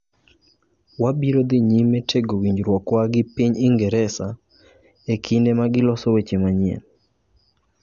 Wabiro dhi nyime tego winjruokwa gi piny Ingresa, e kinde ma giloso weche manyien.